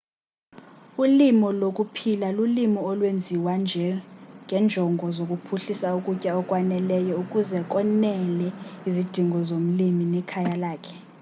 ulimo lokuphila lulimo olwenziwa ngenjongo zokuphuhlisa ukutya okwaneleyo ukuze konele izidingo zomlimi nekhaya lakhe